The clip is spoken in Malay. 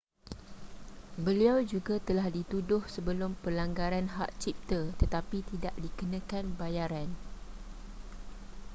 beliau juga telah dituduh sebelum pelanggaran hak cipta tetapi tidak dikenakan bayaran